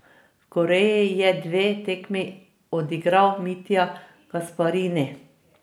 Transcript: V Koreji je dve tekmi odigral Mitja Gasparini.